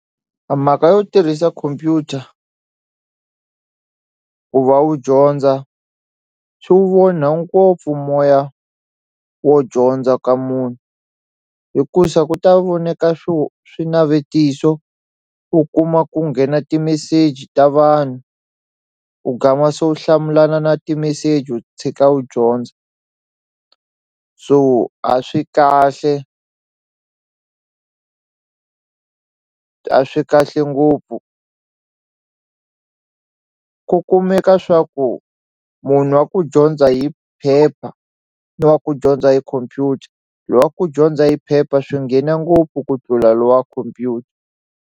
A mhaka yo tirhisa computer ku va u dyondza swi onha ngopfu moya wo dyondza ka munhu hikusa ku ta voneka swo swinavetiso u kuma ku nghena timeseji ta vanhu ku u gama se wu hlamulana na timeseji u tshika u dyondza so a swi kahle a swi kahle ngopfu ku kumeka swa ku munhu wa ku dyondza hi phepha ni wa ku dyondza hi khompyuta lowa ku dyondza hi phepha swi nghena ngopfu ku tlula lowa khompyuta.